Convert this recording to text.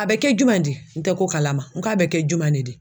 A bɛ kɛ juman di n tɛ ko kalama n k'a bɛ kɛ jumɛn de di?